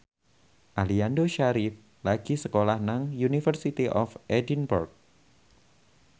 Aliando Syarif lagi sekolah nang University of Edinburgh